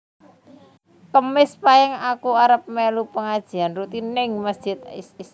Kemis pahing aku arep melu pengajian rutin ning mesjid Istiqomah